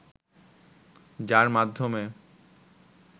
যার মাধ্যমে